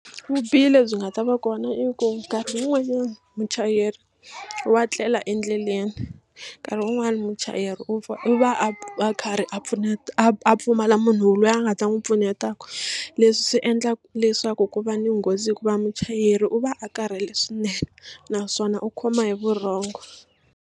Vubihi lebyi nga ta va kona i ku minkarhi yin'wanyani muchayeri wa tlela endleleni nkarhi un'wana muchayeri u va u va a karhi a a a pfumala munhu loyi a nga ta n'wi pfunetaka leswi swi endlaka leswaku ku va ni nghozi hikuva muchayeri u va a karhele swinene naswona u khoma hi vurhongo.